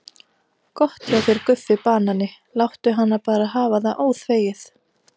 Gott hjá þér Guffi banani, láttu hana bara hafa það óþvegið.